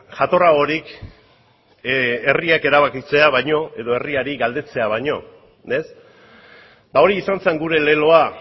jatorragorik herriak erabakitzea baino edo herriari galdetzea baino hori izan zen gure leloa